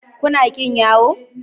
Kuna ƙin yawo?